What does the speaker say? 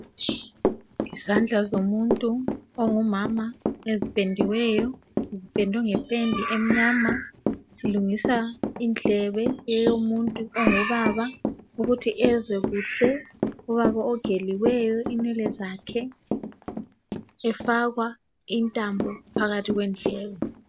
Izandla zomuntu ongumama eziphendiweyo, ziphendwe ngephenda emnyama. Zilungisa indlebe eyomuntu ongubaba ukuthi ezwe kuhle. Ubaba ogeliweyo inwele zakhe efakwa intambo phakathi kwendlebe.